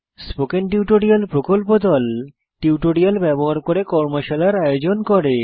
spoken tutorial প্রকল্প দল tutorial ব্যবহার করে কর্মশালার আয়োজন করে